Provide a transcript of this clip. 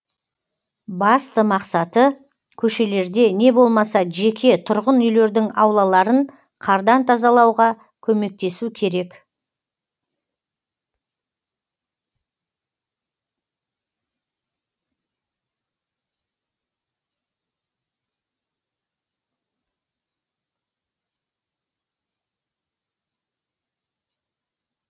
басты мақсаты көшелерде не болмаса жеке тұрғын үйлердің аулаларын қардан тазалауға көмектесу керек